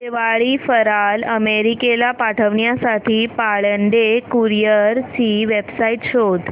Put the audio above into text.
दिवाळी फराळ अमेरिकेला पाठविण्यासाठी पाळंदे कुरिअर ची वेबसाइट शोध